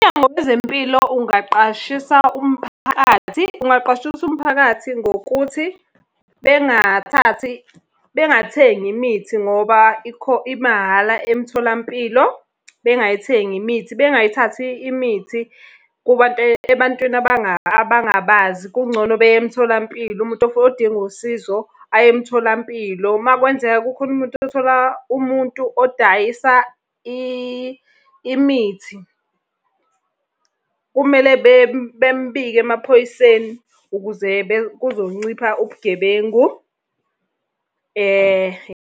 Umnyango wezempilo ungaqashisa umphakathi, ungaqwashisa umphakathi ngokuthi, bengathathi, bengathengi imithi ngoba , imahhala emtholampilo. Bengayithengi imithi, bengayithathi imithi kubantu ebantwini abangabazi, kungcono beye emtholampilo, umuntu odinga usizo aye emtholampilo. Uma kwenzeka kukhona umuntu othola umuntu odayisa imithi, kumele bemubike emaphoyiseni, ukuze kuzoncipha ubugebengu .